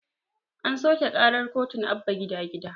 An soƙe ƙarar kotun abba gida gida